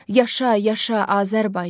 Yaşa, yaşa Azərbaycan.